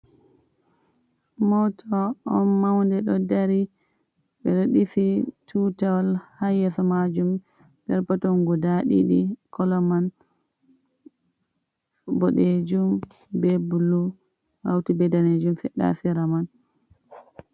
Moto on maunde do dari bedo disi tutawol ha yeso majum , perpeton guda didi kala man bodjum be blu hauti bedne fedda fera man.